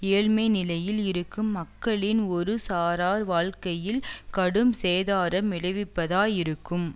ஏழ்மை நிலையில் இருக்கும் மக்களின் ஒரு சாரார் வாழ்க்கையில் கடும் சேதாரம் விளைவிப்பதாய் இருக்கும்